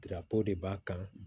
Dira ko de b'a kan